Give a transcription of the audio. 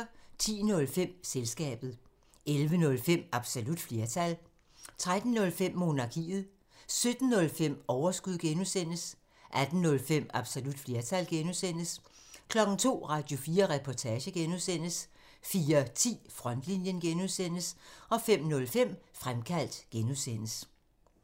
10:05: Selskabet 11:05: Absolut flertal 13:05: Monarkiet 17:05: Overskud (G) 18:05: Absolut flertal (G) 02:00: Radio4 Reportage (G) 04:10: Frontlinjen (G) 05:05: Fremkaldt (G)